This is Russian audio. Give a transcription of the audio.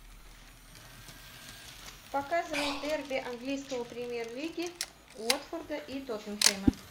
показывай дерби английской премьер лиги уотфорда и тоттенхэма